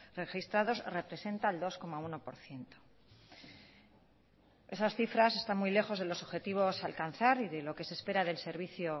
registrados representa el dos coma uno por ciento esas cifras están muy lejos de los objetivos a alcanzar y de lo que se espera del servicio